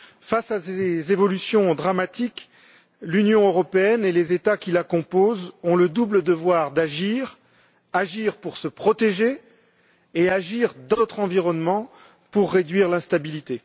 Face à ces évolutions dramatiques, l'Union européenne et les États qui la composent ont le double devoir d'agir agir pour se protéger et agir dans notre environnement pour réduire l'instabilité.